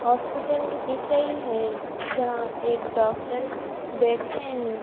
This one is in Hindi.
हॉस्पिटल की दिख रही है जहां एक डॉक्टर बैठते है।